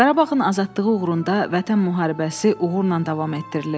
Qarabağın azadlığı uğrunda Vətən müharibəsi uğurla davam etdirilir.